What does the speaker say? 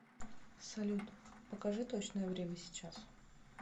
салют покажи точное время сейчас